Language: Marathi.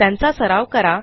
त्यांचा सराव करा